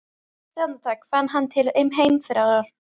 Eitt andartak fann hann til heimþrár.